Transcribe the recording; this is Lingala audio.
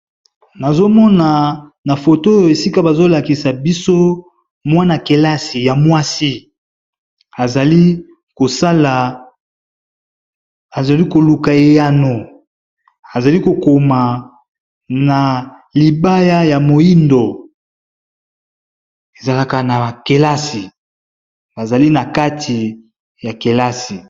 Nazo mona na foto oyo esika bazo lakisa biso mwana kelasi ya mwasi, azali kosala azali koluka eyano azali ko koma na libaya ya moyindo ezalaka na kelasi azali na kati ya kelasi.